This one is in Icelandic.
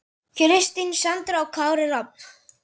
Kristín Sandra og Kári Rafn.